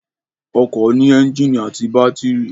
Ọkọ̀ ní ẹ́ńjìnì àti bátírì